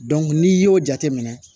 n'i y'o jateminɛ